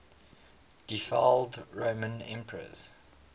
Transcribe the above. deified roman emperors